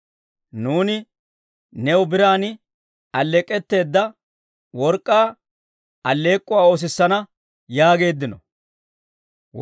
Nuuni new biran alleek'k'etteedda, work'k'aa alleek'k'uwaa oosissana yaageeddino.